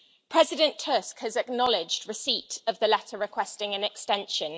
President Tusk has acknowledged receipt of the letter requesting an extension.